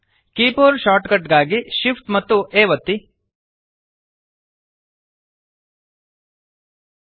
keyboard shortcut ಗಾಗಿ shift amp A ಒತ್ತಿರಿ